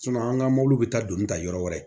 an ka mɔbiliw bɛ taa doni ta yɔrɔ wɛrɛ